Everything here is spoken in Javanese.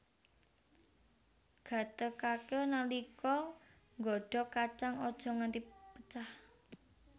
Gatékaké nalika nggodhog kacang aja nganti pecah